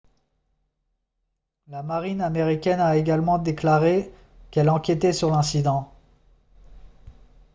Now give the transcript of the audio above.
la marine américaine a également déclaré qu'elle enquêtait sur l'incident